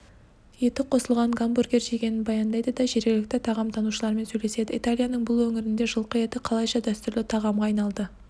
етіқосылған гамбургер жегенін баяндайды да жергілікті тағамтанушылармен сөйлеседі италияның бұл өңірінде жылқы еті қалайша дәстүрлі тағамға айналды